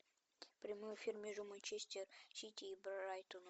прямой эфир между манчестер сити и брайтоном